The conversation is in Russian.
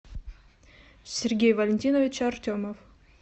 сергей валентинович артемов